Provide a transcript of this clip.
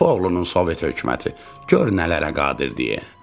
Köpək oğlunun Sovet hökuməti, gör nələrə qadir deyə.